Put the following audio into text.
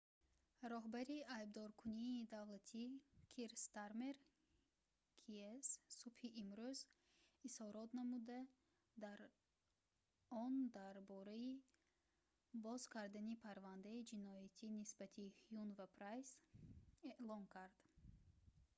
роҳбари айбдоркунии давлатӣ кир стармер кс субҳи имрӯз изҳорот намуда дар он дар бораи боз кардани парвандаи ҷиноятӣ нисбати ҳюн ва прайс эълон кард